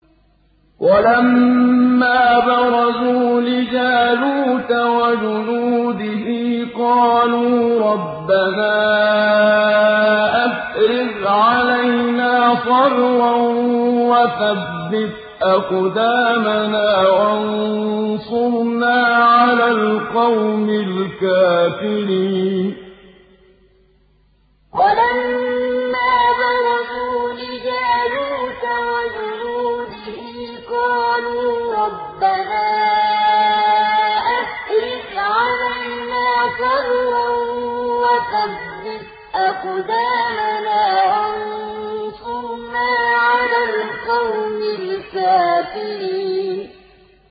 وَلَمَّا بَرَزُوا لِجَالُوتَ وَجُنُودِهِ قَالُوا رَبَّنَا أَفْرِغْ عَلَيْنَا صَبْرًا وَثَبِّتْ أَقْدَامَنَا وَانصُرْنَا عَلَى الْقَوْمِ الْكَافِرِينَ وَلَمَّا بَرَزُوا لِجَالُوتَ وَجُنُودِهِ قَالُوا رَبَّنَا أَفْرِغْ عَلَيْنَا صَبْرًا وَثَبِّتْ أَقْدَامَنَا وَانصُرْنَا عَلَى الْقَوْمِ الْكَافِرِينَ